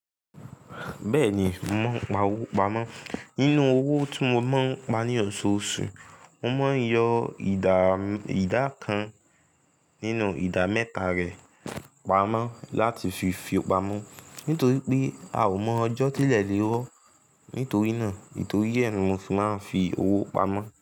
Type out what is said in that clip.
Bẹ́ẹ̀ni, mo máa ń pa owó pamọ́. Inú owó tí mo máa ń pa ní ọ̀ṣọ̀ọ̀ṣù, mo máa ń yọ ìdá kan nínú ìdá mẹ́ta rẹ̀ pamọ́ láti fi fi pamọ́ nítorí pé a ò mọ ọjọ́ tí ilẹ̀ lè rọ. Nítorí náà nítorí ẹ́ ni mo fi máa ń fi owó pamọ́.